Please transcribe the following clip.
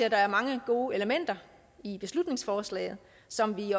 at der er mange gode elementer i beslutningsforslaget som vi